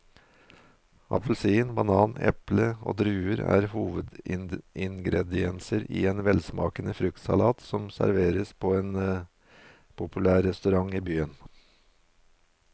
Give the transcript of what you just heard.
Appelsin, banan, eple og druer er hovedingredienser i en velsmakende fruktsalat som serveres på en populær restaurant i byen.